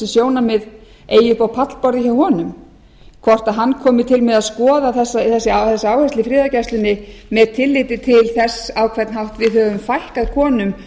upp á pallborðið hjá honum hvort hann komi til með að skoða þessa áherslu í friðargæslunni með tilliti til þess á hvern hátt við höfum fækkað konum